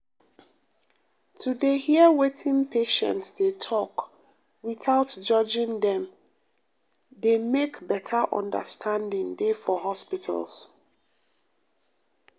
to dey hear wetin patients dey talk without judging dem dey make better understanding dey for hospital.